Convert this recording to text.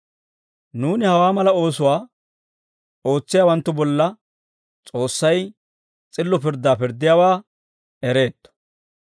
Nuuni hawaa mala oosuwaa ootsiyaawanttu bolla S'oossay s'illo pirddaa pirddiyaawaa ereetto.